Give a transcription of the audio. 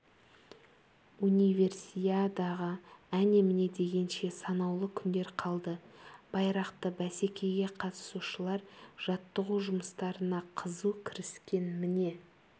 универсиадаға әне-міне дегенше санаулы күндер қалды байрақты бәсекеге қатысушылар жаттығу жұмыстарына қызу кіріскен міне фристайлдың шебері жанбота алдабергенова қазір батутқа секіруден